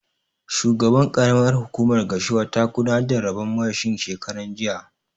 Shugaban ƙaramar hukumar Gashua ta gudanar da rabon mashin shekaran jiya